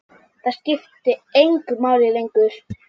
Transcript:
Það skipti engu máli lengur.